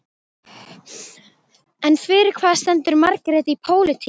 En fyrir hvað stendur Margrét í pólitík?